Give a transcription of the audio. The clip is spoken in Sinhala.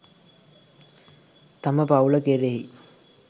තම පවූල කෙරෙහි